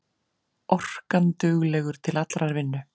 Orkanduglegur til allrar vinnu.